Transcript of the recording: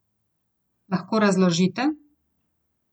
Lahko razložite?